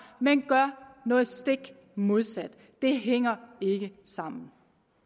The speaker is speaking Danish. men gør noget stik modsat det hænger ikke sammen